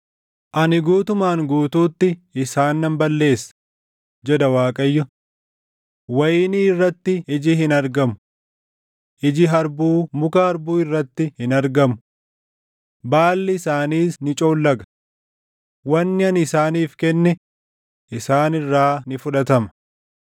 “ ‘Ani guutumaan guutuutti isaan nan balleessa; jedha Waaqayyo. Wayinii irratti iji hin argamu. Iji harbuu muka harbuu irratti hin argamu. Baalli isaaniis ni coollaga. Wanni ani isaaniif kenne isaan irraa ni fudhatama.’ ”